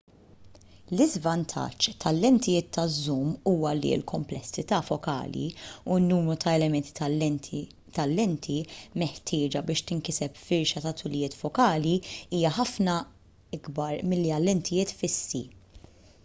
l-iżvantaġġ tal-lentijiet taż-żum huwa li l-kumplessità fokali u n-numru ta' elementi tal-lenti meħtieġa biex tinkiseb firxa ta' tulijiet fokali hija ħafna ikbar milli għal lentijiet fissi